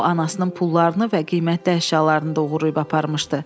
O anasının pullarını və qiymətli əşyalarını da oğurlayıb aparmışdı.